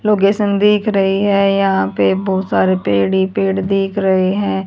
Location दिख रही है यहां पे बहुत सारे पेड़ ही पेड़ दिख रहे हैं।